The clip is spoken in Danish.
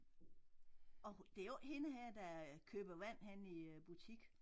Og det jo ikke hende her der køber vand henne i øh butik